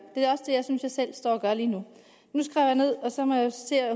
synes jeg selv står og gør lige nu nu skrev jeg ned og så